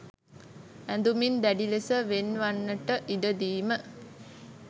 ඇඳුමින් දැඩි ලෙස වෙන් වන්නට ඉඩ දීම